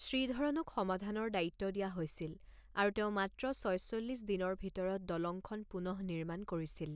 শ্ৰীধৰণক সমাধাৰ দায়িত্ব দিয়া হৈছিল আৰু তেওঁ মাত্ৰ ছয়চল্লিছ দিনৰ ভিতৰত দলংখন পুনঃনিৰ্মাণ কৰিছিল।